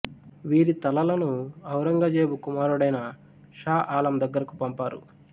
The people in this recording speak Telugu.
వీరి తలలను ఔరంగజేబు కుమారుడైన షా ఆలం దగ్గరకు పంపారు